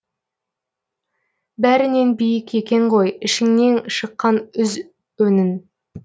бәрінен биік екен ғой ішіңнен шыққан үз үнің